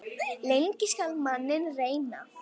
Lengi skal manninn reyna.